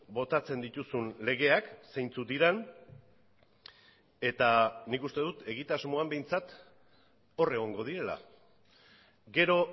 botatzen dituzun legeak zeintzuk diren eta nik uste dut egitasmoan behintzat hor egongo direla gero